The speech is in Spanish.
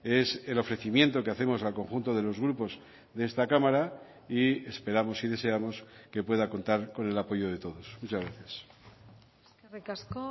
es el ofrecimiento que hacemos al conjunto de los grupos de esta cámara y esperamos y deseamos que pueda contar con el apoyo de todos muchas gracias eskerrik asko